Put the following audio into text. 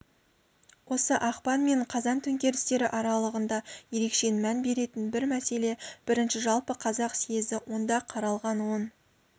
осы ақпан мен қазан төңкерістері аралығында ерекше мән беретін бір мәселе бірінші жалпы қазақ сьезі онда қаралған он